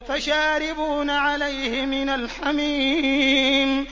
فَشَارِبُونَ عَلَيْهِ مِنَ الْحَمِيمِ